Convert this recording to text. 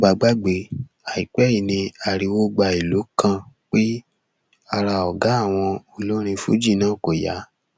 tẹ ò bá gbàgbé àìpẹ yìí ni ariwo gba ìlú kan pé ara ọgá àwọn olórin fuji náà kò yá